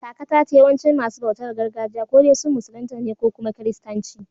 Kaka ta ce yawancin masu bautar gargajiya ko dai sun musulunta ne ko kuma Kiristanci